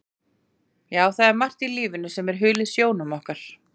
Já, það er margt í lífinu sem er hulið sjónum okkar.